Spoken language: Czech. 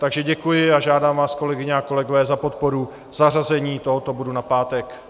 Takže děkuji a žádám vás kolegyně a kolegové za podporu zařazení tohoto bodu na pátek.